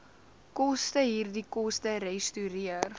kostehierdie koste resorteer